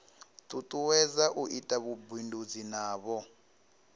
tutuwedza u ita vhubindudzi navho